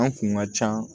An kun ka ca